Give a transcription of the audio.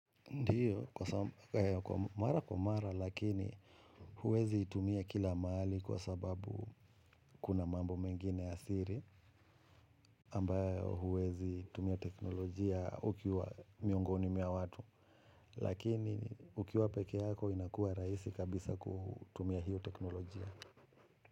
Ndio, kwa mara kwa mara, lakini huwezi itumia kila mahali kwa sababu kuna mambo mengine ya siri, ambayo huwezi tumia teknolojia ukiwa miongoni mwa watu, lakini ukiwa peke yako inakua rahisi kabisa kutumia hiyo teknolojia.